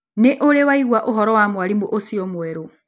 Nĩ ũrĩ waigua ũhoro wa mwarimũ ũcio mwerũ?